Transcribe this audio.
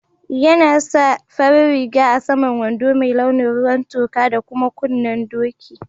Yana sa farin riga a'saman wando mai launin ruwan toka da kuma kunnen doki.